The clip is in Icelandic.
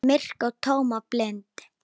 Myrk og tóm og blind.